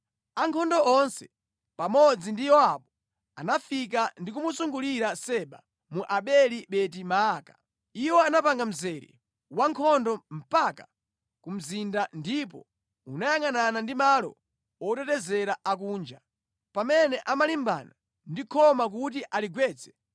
Ankhondo onse pamodzi ndi Yowabu anafika ndi kumuzungulira Seba mu Abeli-Beti-Maaka. Iwo anapanga mzere wa nkhondo mpaka ku mzinda, ndipo unayangʼanana ndi malo otetezera a kunja. Pamene amalimbana ndi khoma kuti aligwetse,